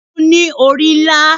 Kìniún ni orí nlá